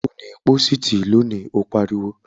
Ò ní pósìtì lónìí, ó pariwo!